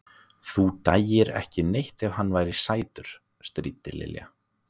Þú dæir ekki neitt ef hann væri sætur. stríddi Lilla.